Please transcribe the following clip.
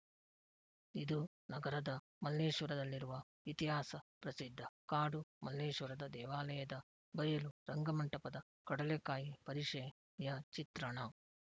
ಇದು ನಗರದ ಮಲ್ಲೇಶ್ವರದಲ್ಲಿರುವ ಇತಿಹಾಸ ಪ್ರಸಿದ್ಧ ಕಾಡು ಮಲ್ಲೇಶ್ವರ ದೇವಾಲಯದ ಬಯಲು ರಂಗಮಂಟಪದ ಕಡಲೆಕಾಯಿ ಪರಿಷೆಯ ಚಿತ್ರಣ